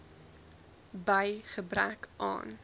by gebrek aan